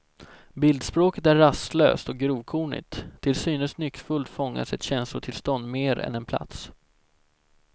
Bildspråket är rastlöst och grovkornigt, till synes nyckfullt fångas ett känslotillstånd mer än en plats.